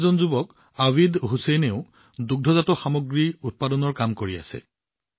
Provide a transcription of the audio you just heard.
আন এজন যুৱক আবিদ হুছেইনেও দুগ্ধ পামৰ কাম কৰি আছে